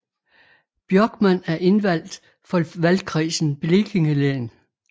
Björkman er indvaldt for valgkredsen Blekinge län